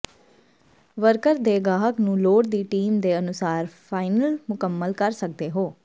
worker ਦੇ ਗਾਹਕ ਨੂੰ ਲੋੜ ਦੀ ਟੀਮ ਦੇ ਅਨੁਸਾਰ ਫਾਈਨਲ ਮੁਕੰਮਲ ਕਰ ਸਕਦੇ ਹੋ